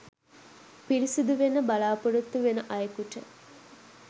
පිරිසුදු වෙන්න බලාපොරොත්තු වෙන අයෙකුට